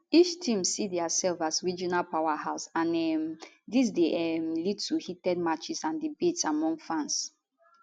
each team see diasef as a regional powerhouse and um dis dey um lead to heated matches and debates among fans